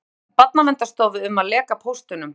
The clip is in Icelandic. Sakar Barnaverndarstofu um að leka póstunum